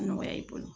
Nɔgɔya i bolo